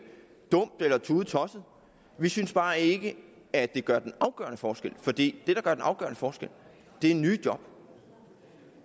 dumt eller tudetosset vi synes bare ikke at det gør den afgørende forskel det gør den afgørende forskel er nye job